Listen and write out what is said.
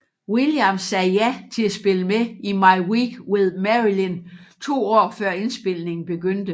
Williams sagde ja til at spille med i My Week with Marilyn to år før indspilningen begyndte